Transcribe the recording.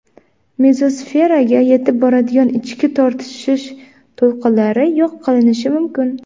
Mezosferaga yetib boradigan ichki tortishish to‘lqinlari yo‘q qilinishi mumkin.